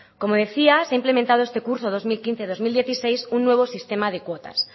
como decía se ha implementado este curso dos mil quince barra dos mil dieciséis un nuevo sistema de cuotas